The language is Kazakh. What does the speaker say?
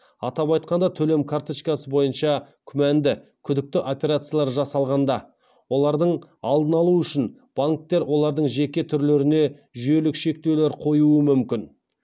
атап айтқанда төлем карточкасы бойынша күмәнді күдікті операциялар жасалғанда олардың алдын алу үшін банктер олардың жеке түрлеріне жүйелік шектеулер қоюы мүмкін